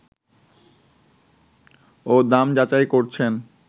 ও দাম যাচাই করছেন